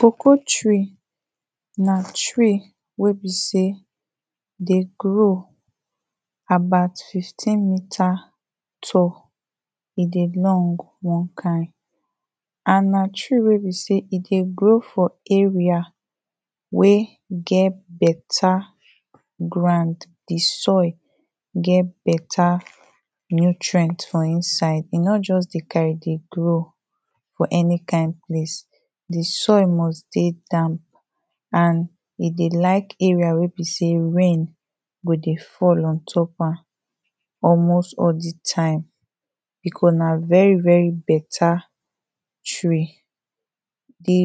Cocoa tree, na tree wey be sey, e dey grow about 15 meter tall, e dey long one kind and na tree wey be sey, e dey grow for area wey get better ground, di soil get better nutrient for inside, e no just dey carry dey grow for any kind place, di soil must dey down and e dey like area wey be sey rain go dey fall ontop am almost all di time, because na very better tree. Di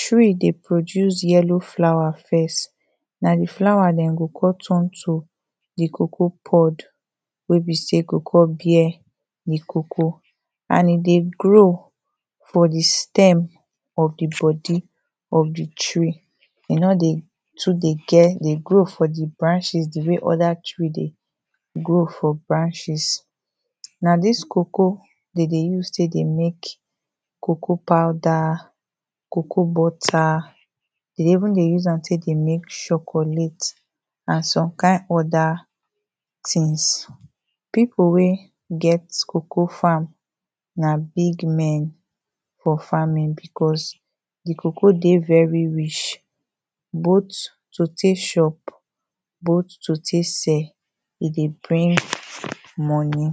tree dey produce yellow flower first, na di flower den go con turn to di cocoa pod wey be sey, e go con bear di cocoa and e dey grow for di stem of di body of di tree, e no dey too dey get, dey grow for di branches di way other trees dey grow for branches na dis cocoa de dey use tey dey mek cocoa powder, cocoa butter, de dey even dey use am tek dey mek chocolate and some kind other things. Pipo wey get cocoa farm na big men for farming because di cocoa dey very rich both to tey chop, both to tey sell, e dey bring money.